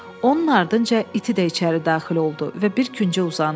Onun ardınca iti də içəri daxil oldu və bir küncə uzandı.